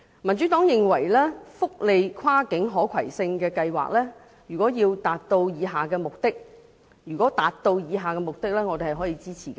民主黨認為福利跨境可攜性計劃，如可達致以下目的，我們是會予以支持的。